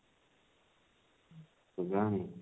କେଜାଣି